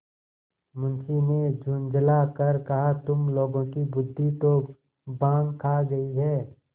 मुंशी ने झुँझला कर कहातुम लोगों की बुद्वि तो भॉँग खा गयी है